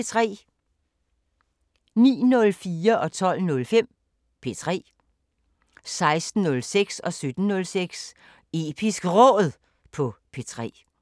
09:04: P3 12:05: P3 16:06: Episk Råd på P3 17:06: Episk Råd på P3